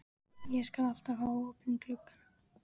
Ég skal alltaf hafa opinn gluggann.